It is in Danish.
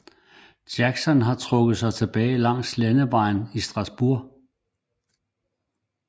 Jackson havde trukket sig tilbage langs landevejen til Strasburg